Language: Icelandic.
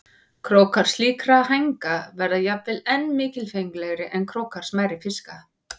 Krókar slíkra hænga verða jafnvel enn mikilfenglegri en krókar smærri fiska.